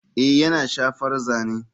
Ee yana shafar zane.